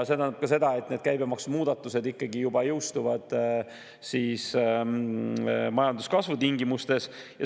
See tähendab ka seda, et need käibemaksumuudatused ikkagi jõustuvad juba majanduskasvu tingimustes.